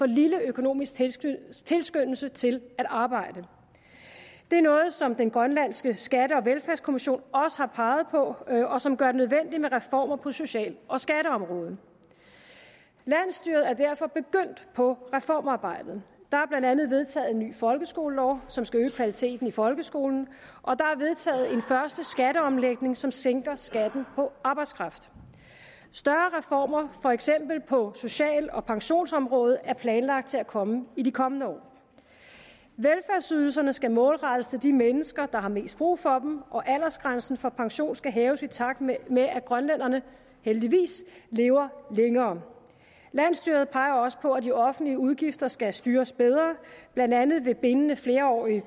lille økonomisk tilskyndelse tilskyndelse til at arbejde det er noget som også den grønlandske skatte og velfærdskommission har peget på og som gør det nødvendigt med reformer på social og skatteområdet landsstyret er derfor begyndt på reformarbejdet der er blandt andet vedtaget en ny folkeskolelov som skal øge kvaliteten i folkeskolen og der er vedtaget en første skatteomlægning som sænker skatten på arbejdskraft større reformer for eksempel på social og pensionsområdet er planlagt til at komme i de kommende år velfærdsydelserne skal målrettes de mennesker der har mest brug for dem og aldersgrænsen for pension skal hæves i takt med med at grønlænderne heldigvis lever længere landsstyret peger også på at de offentlige udgifter skal styres bedre blandt andet ved bindende flerårige